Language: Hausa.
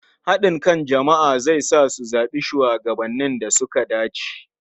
Haɗin kan jama'a zai sa su zaɓi shugabannin da suka dace.